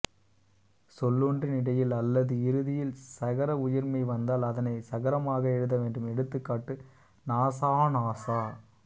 சொல்லொன்றின் இடையில் அல்லது இறுதியில் ஸகர உயிர்மெய் வந்தால் அதனைச் சகரமாக எழுத வேண்டும் எடுத்துக்காட்டு நாஸாநாசா